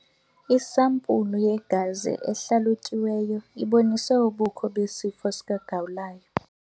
Isampulu yegazi ehlalutyiweyo ibonise ubukho besifo sikagawulayo.